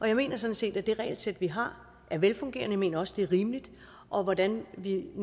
jeg mener sådan set at det regelsæt vi har er velfungerende mener også det er rimeligt hvordan vi